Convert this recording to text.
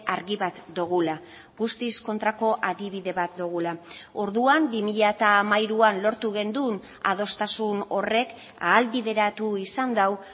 argi bat dugula guztiz kontrako adibide bat dugula orduan bi mila hamairuan lortu genuen adostasun horrek ahalbideratu izan du